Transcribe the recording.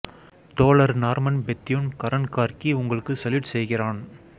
தோழர் Norman Bethune Karan Karki உங்களுக்கு salute செய்கிறான்